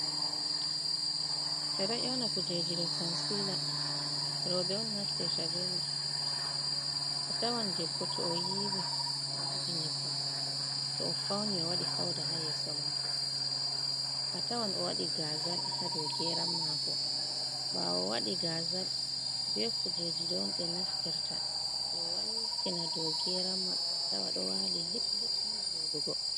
Ɓe do ƴawna kujeji do consila robe on naftir abema a tawan debbo to o yiwi a wujinyibba to o fauni o wadi fauda ha yeso mako a tawan o wadi gazal ha do geran mako bawo wadi gazal be kujeji don be naftirta be waltina do geran maɓɓe a tawa do wali liplipni vodugo.